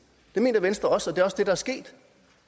det mener venstre også også der er sket